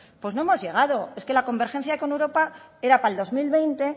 pues no hemos llegado es que la convergencia con europa era para el dos mil veinte